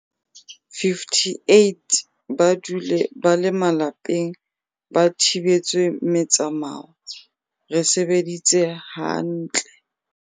58 ba dule ba le malapeng ba thibetswe metsamao, re sebeditse ha ntle.